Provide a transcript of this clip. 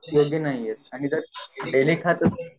योग्य नाही हायेत आणि जे डेली खातातं ते